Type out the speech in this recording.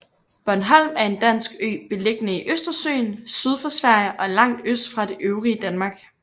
Bornholm er en dansk ø beliggende i Østersøen syd for Sverige og langt øst fra det øvrige Danmark